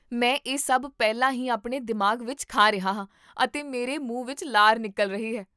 ਮੈਂ ਇਹ ਸਭ ਪਹਿਲਾਂ ਹੀ ਆਪਣੇ ਦਿਮਾਗ ਵਿੱਚ ਖਾ ਰਿਹਾ ਹਾਂ ਅਤੇ ਮੇਰੇ ਮੂੰਹ ਵਿੱਚ ਲਾਰ ਨਿਕਲ ਰਹੀ ਹੈ